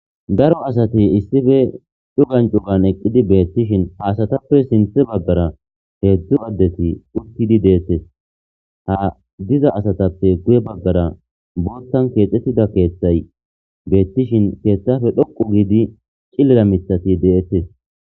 Daro asati issife dhugan cugan eqqidi beettishin haasatappe sinthe baggara heedzdzu addeti ukkidi deettes ha diza asatappe guye baggara boottan keexxettida keeththay beettishin keeththafe dhoqu giidi cillira mithati de7ettes.